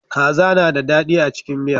Kaza na da daɗi a cikin miya.